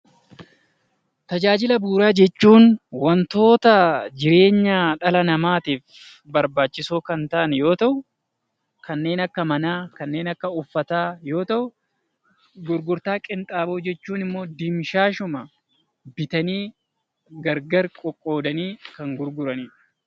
Tajaajila bu'uuraa jechuun wantoota jireenya dhala namaatiif barbaachisoo kan ta'an yoo ta'u, kanneen akka manaa kanneen akka uffataa yoo ta'u, gurgurtaa qinxaaboo jechuun immoo dimshaashuma bitanii gargar qoqqoodanii kan gurguranidha.